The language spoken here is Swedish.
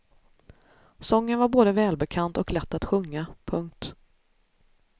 Sången var både välbekant och lätt att sjunga. punkt